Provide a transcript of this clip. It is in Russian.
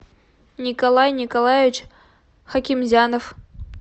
николай николаевич хакимзянов